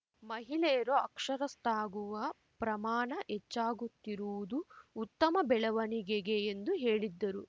ಮಹಿಳೆಯರು ಅಕ್ಷರಸ್ಥಗುವ ಪ್ರಮಾಣ ಹೆಚ್ಚಾಗುತ್ತಿರುವುದು ಉತ್ತಮ ಬೆಳವಣಿಗೆಗೆ ಎಂದು ಹೇಳಿದ್ದರು